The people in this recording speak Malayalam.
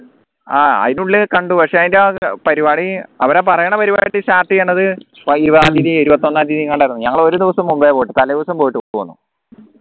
ആഹ് അയിന്റെ ഉള്ളിൽ കണ്ടു പക്ഷേ അയിന്റെ പരിപാടി അവരാ പറയണ പരിപാടി start ചെയ്യണത് ഇരുപതാം തിയതിയ ഇരുപത്തൊന്നാം തിയതിയങ്ങാണ്ടായിരുന്നു ഞങ്ങൾ ഒരു ദിവസം മുമ്പേ പോയിട്ട് തലേദിവസം പോയിട്ട്